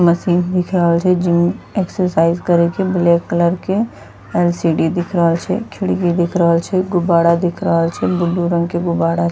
मशीन दिख रहल छै जिम एक्सरसाईज करे के ब्लैक कलर के। एल.सी.डी. दिख रहल छै खिड़की दिख रहल छै गुब्बारा दिख रहल छै ब्लू रंग के गुब्बारा --